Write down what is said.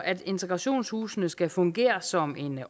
at integrationshusene skal fungere som en